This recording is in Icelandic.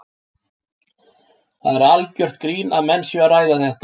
Það er algjört grín að menn séu að ræða þetta.